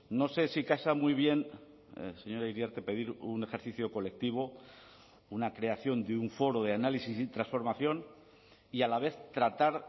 no sé si casa muy bien señora iriarte pedir un ejercicio colectivo una creación de un foro de análisis y transformación y a la vez tratar